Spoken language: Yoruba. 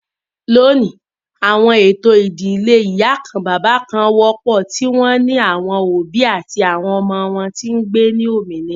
Loni, awọn eto idile iparun wọpọ, ti o ni awọn obi ati awọn ọmọ wọn ti ngbe ni ominira.